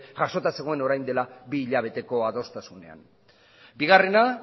jasota zegoen orain dela bi hilabeteko adostasunean bigarrena